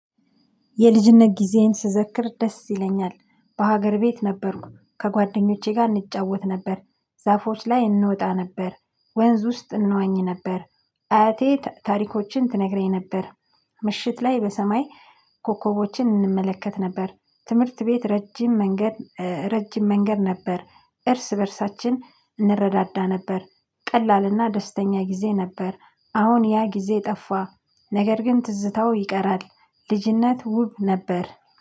የልጅነት ጊዜዬን ስዘክር ደስ ይለኛል፤። በሀገር ቤት ነበርኩ፤። ከጓደኞቼ ጋር እንጫወት ነበር፤። ዛፎች ላይ እንወጣ ነበር፤። ወንዝ ውስጥ እንዋኝ ነበር፤። አያቴ ታሪኮችን ትነግረኝ ነበር ምሽት ላይ በሰማይ ኮከቦችን እንመለከት ነበር፤። ትምህርት ቤት ረጅም መንገድ ረጅም መንገድ ነበር፤። እርስ በእርሳችን እንረዳዳ ነበር፤። ቀላልና ደስተኛ ጊዜ ነበር፤። አሁን ያ ጊዜ ጠፋ ነገር ግን ትዝታው ይቀራል፤። ልጅነት ውብ ነበር